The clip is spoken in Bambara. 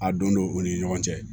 A don u ni ɲɔgɔn cɛ